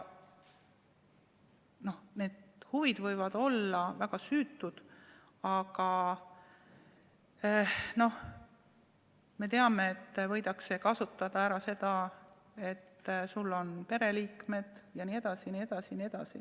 Need huvid võivad olla väga süütud, aga me teame, et võidakse kasutada ära seda, et sul on pereliikmed jne.